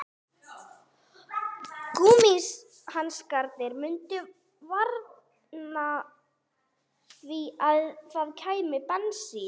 Gúmmíhanskarnir mundu varna því að það kæmi bensín